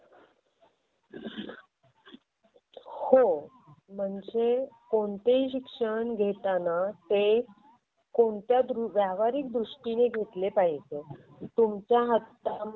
मुद्दे येतात म्हणजे आदितीने डिझाईनिंग बेसिक आधी तिने डिझाइनिंग चे बेसिक शिकलं पाहिजे म्हणजे ग्राफिक डिझाईनिंग चा कोर्स जर तिने केला असता तर नोकरी नक्की मिळाली असती.